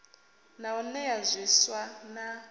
na u nea zwiswa na